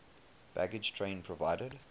baggage train provided